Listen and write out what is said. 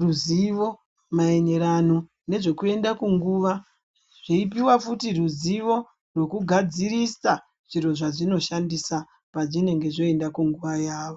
ruzivo maererano nezvekuenda kunguva dzeipuwa futi ruzivo nekugadzirisa zviro zvadzinoshandisa pavanenge vakuenda kunguva yavo.